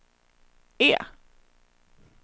E